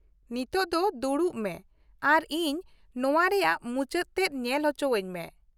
ᱱᱤᱛᱳᱜ ᱫᱚ ᱫᱩᱲᱩᱵ ᱢᱮ, ᱟᱨ ᱤᱧ ᱱᱚᱶᱟ ᱨᱮᱭᱟᱜ ᱢᱩᱪᱟᱹᱫ ᱛᱮᱫ ᱧᱮᱞ ᱚᱪᱚᱣᱟᱹᱧ ᱢᱮ ᱾